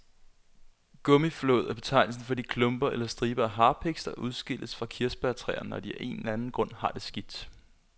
Gummiflåd er betegnelsen for de klumper eller striber af harpiks, der udskilles fra kirsebærtræer, når de af en eller anden grund har det skidt.